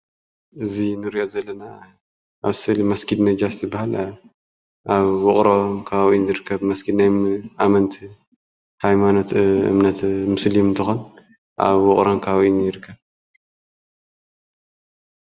እዚ እንሪኦ ዘለና ምስሊ መስጊድ ነጃሽ እዩ ዝብሃል ኣብ ዉቕሮ ከባቢ እዩ ዝርከብ መስጊድ ናይ ኣመንቲ ሃይማኖት እምነት ሙስሊም እንትኾን ኣብ ዉቕሮ ከባቢ እዩ ዝርከብ።